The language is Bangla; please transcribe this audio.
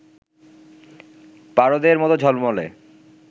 পারদের মত ঝলমলে